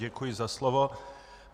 Děkuji za slovo.